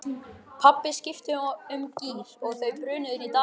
Pabbi skipti um gír og þau brunuðu inn dalinn.